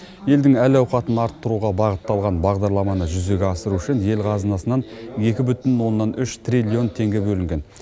елдің әл ауқатын арттыруға бағытталған бағдарламаны жүзеге асыру үшін ел қазынасынан екі бүтін оннан үш триллион теңге бөлінген